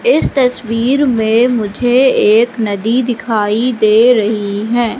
इस तस्वीर में मुझे एक नदी दिखाई दे रही है।